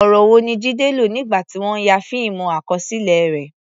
Ọ̀rọ̀ wo ni Jide lò nígbà tí wọ́n ń ya fíìmù àkọsílẹ̀ rẹ̀?